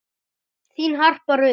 Þín Harpa Rut.